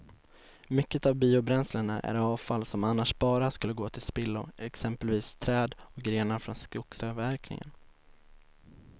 Mycket av biobränslena är avfall som annars bara skulle gå till spillo, exempelvis träd och grenar från skogsavverkningen.